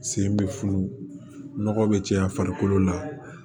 Sen bɛ funu nɔgɔ bɛ caya farikolo la